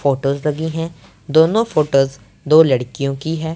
Photos लगी हैं दोनों फोटोस दो लड़कियों की हैं।